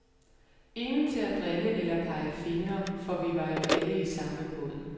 Ingen til at drille eller pege fingre, for vi var jo alle i samme båd.